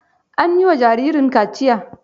An yi wa jaririn kaciya?